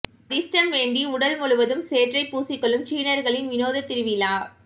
அதிர்ஷ்டம் வேண்டி உடல் முழுவதும் சேற்றை பூசி கொள்ளும் சீனர்களின் வினோத திருவிழா